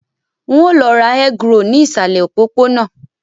N ó lọ ra egg roll ní ìsàlẹ̀ òpópónà